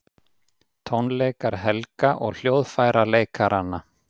Tónleikar Helga og hljóðfæraleikaranna